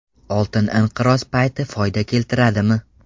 Oltin inqiroz payti foyda keltiradimi?